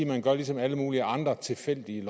man har gjort ligesom med alle mulige andre tilfældige